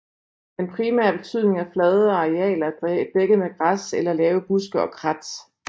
Den primære betydning er flade arealer dækket med græs eller lave buske og krat